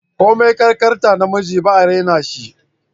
Komin kankantar namiji ba'a raina shi